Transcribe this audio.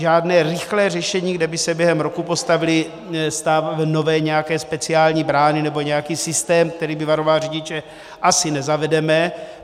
Žádné rychlé řešení, kde by se během roku postavily nové nějaké speciální brány nebo nějaký systém, který by varoval řidiče, asi nezavedeme.